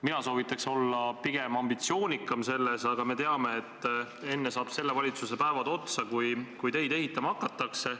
Mina soovitan pigem olla selles vallas ambitsioonikam, aga me teame, et enne saavad selle valitsuse päevad otsa, kui teid ehitama hakatakse.